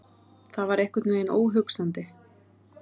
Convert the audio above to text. Það var einhvern veginn óhugsandi.